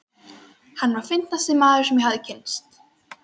Hann var fyndnasti maður, sem ég hafði kynnst.